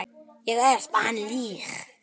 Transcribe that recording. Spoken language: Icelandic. Ég espa hana líka.